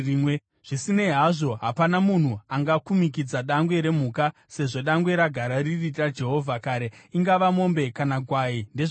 “ ‘Zvisinei hazvo, hapana munhu angakumikidza dangwe remhuka, sezvo dangwe ragara riri raJehovha kare; ingava mombe kana gwai; ndezvaJehovha.